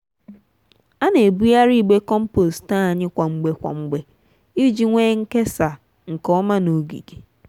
ana ebugharị igbe compost anyị kwa mgbe kwa mgbe iji nwee nkesa nke ọma n'ogige.